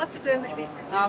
Allah sizə ömür versin.